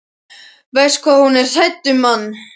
Verst hvað hún er hrædd um mann.